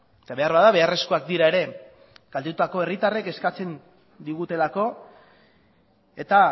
eta beharbada beharrezkoak dira ere kaltetutako herritarrek eskatzen digutelako eta